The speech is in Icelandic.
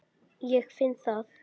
Ég finn það.